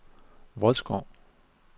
Vodskov